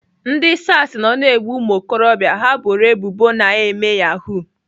Ndị SARS nọ na-egbu ụmụokorobịa ha boro ebubo na-eme Yahoo.